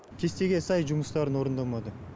кестеге сай жұмыстарын орындамады